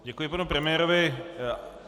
Děkuji panu premiérovi.